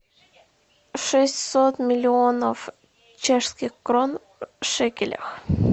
шестьсот миллионов чешских крон в шекелях